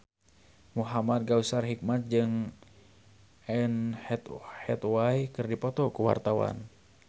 Muhamad Kautsar Hikmat jeung Anne Hathaway keur dipoto ku wartawan